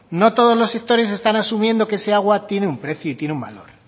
no todos los sectores están asumiendo que ese agua tiene un precio y tiene un valor